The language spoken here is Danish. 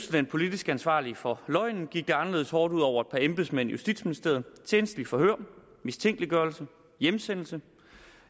den politisk ansvarlige for løgnen gik det anderledes hårdt ud over et par embedsmænd i justitsministeriet tjenstligt forhør mistænkeliggørelse hjemsendelse